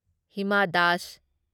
Hima Das